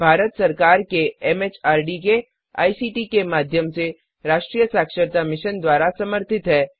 यह भारत सरकार के एमएचआरडी के आईसीटी के माध्यम से राष्ट्रीय साक्षरता मिशन द्वारा समर्थित है